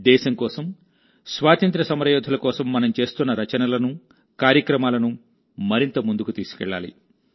దేశం కోసం స్వాతంత్ర్య సమరయోధుల కోసంమనం చేస్తున్న రచనలను కార్యక్రమాలను మరింత ముందుకు తీసుకెళ్లాలి